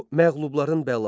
Bu məğlubların bəlasıdır.